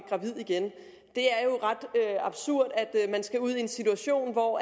igen det er jo ret absurd at man skal ud i en situation hvor